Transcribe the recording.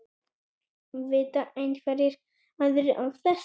Vita einhverjir aðrir af þessu?